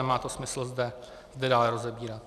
Nemá to smysl zde dále rozebírat.